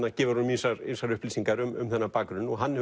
gefur honum ýmsar ýmsar upplýsingar um þennan bakgrunn og hann